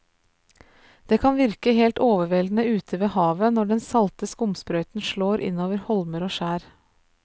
Det kan virke helt overveldende ute ved havet når den salte skumsprøyten slår innover holmer og skjær.